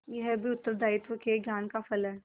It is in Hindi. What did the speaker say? यह भी उत्तरदायित्व के ज्ञान का फल है